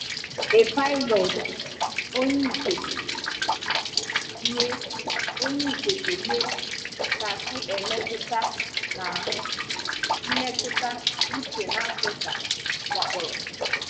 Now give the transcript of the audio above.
A pilot onye ikekwe nye onye ikekwe nye kasị emètụ̀ n’ahụ́ mmetụ̀ uche na Áfríkan wàkpọ́rọ̀.